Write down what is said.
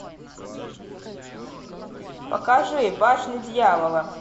покажи башня дьявола